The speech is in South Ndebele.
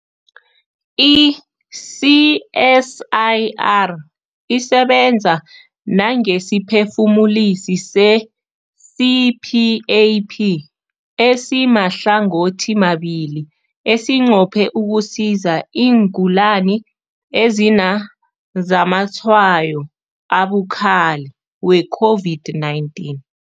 I-CSIR isebenza nangesiphefumulisi se-CPAP esimahlangothimabili esinqophe ukusiza iingulani ezinazamatshwayo abukhali we-COVID-19.